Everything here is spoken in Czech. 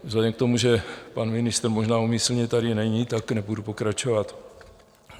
Vzhledem k tomu, že pan ministr možná úmyslně tady není, tak nebudu pokračovat.